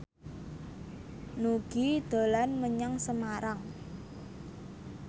Nugie dolan menyang Semarang